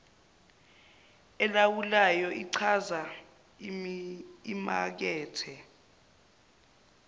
elawulwayo ichaza imakethe